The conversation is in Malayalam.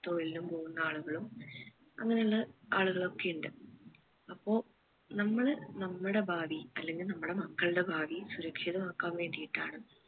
തൊഴിലിനു പോകുന്ന ആളുകളും അങ്ങനെ ഉള്ള ആളുകൾ ഒക്കെ ഇണ്ട് അപ്പോ നമ്മള് നമ്മടെ ഭാവി അല്ലെങ്കിൽ നമ്മടെ മക്കൾടെ ഭാവി സുരക്ഷിതമാക്കൻ വേണ്ടിയിട്ടാണ്